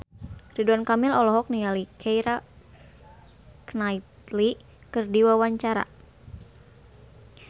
Ridwan Kamil olohok ningali Keira Knightley keur diwawancara